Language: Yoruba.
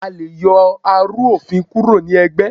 a lẹ yoo arú-ofín kúró ní ẹgbé